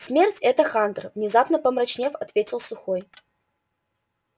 смерть это хантер внезапно помрачнев ответил сухой